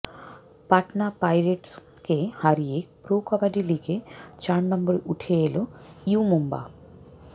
পাটনা পাইরেটসকে হারিয়ে প্রো কবাডি লিগে চার নম্বরে উঠে এল ইউ মুম্বা